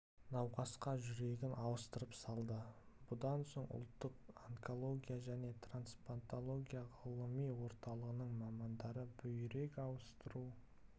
науқасқа жүрегін ауыстырып салды бұдан соң ұлттық онкология және трансплантология ғылыми орталығының мамандары бүйрек ауыстыру